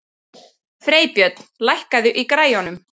Freybjörn, lækkaðu í græjunum.